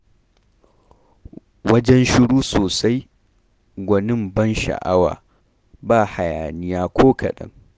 Wajen shiru sosai, gwanin ban sha'awa, ba hayaniya ko kaɗan